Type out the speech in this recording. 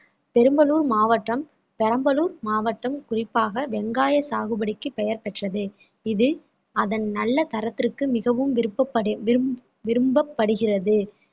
பெரம்பலூர் மாவட்டம் பெரம்பலூர் மாவட்டம் குறிப்பாக வெங்காய சாகுபடிக்கு பெயர் பெற்றது இது அதன் நல்ல தரத்திற்கு மிகவும் விருபப்படு~ விரும்~ விரும்பப்படுகிறது